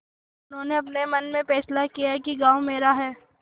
उन्होंने अपने मन में फैसला किया कि गॉँव मेरा है